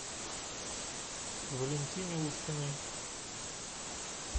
валентине уткиной